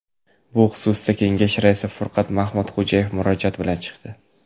Bu xususda kengash raisi Furqat Mahmudxo‘jayev murojaat bilan chiqdi.